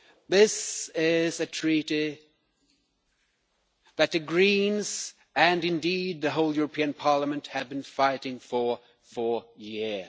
This is a Treaty that the Greens, and indeed the whole European Parliament, have been fighting for for years.